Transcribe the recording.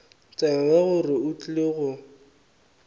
tsebe gore o tlile go